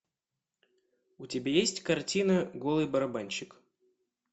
у тебя есть картина голый барабанщик